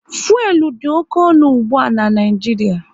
Fuelu dị oké ọnụ ụgbụa n'Naijiria